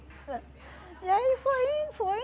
E aí foi indo, foi